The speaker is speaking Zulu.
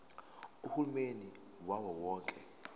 uhulumeni wawo wonke